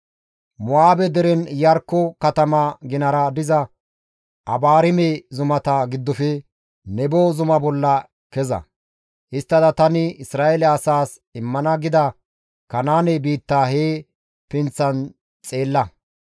«Mo7aabe deren Iyarkko katama ginara diza Abaarime zumata giddofe Nebo zuma bolla keza; histtada tani Isra7eele asaas immana gida Kanaane biitta he pinththan xeella.